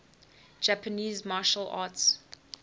japanese martial arts